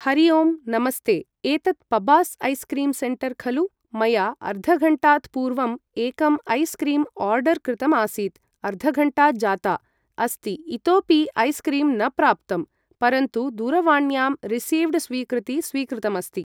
हरि ओं नमस्ते एतत् पब्बास् ऐस् क्रीं सेण्टर् खलु मया अर्धघण्टात् पूर्वम् एकम् ऐस् क्रीम् ओर्डर् कृतमासीत् अर्धघण्टा जाता अस्ति इतोपि ऐस् क्रीम् न प्राप्तम् परन्तु दूरवाण्यां रिसीव्ड् स्वीकृति स्वीकृतमिति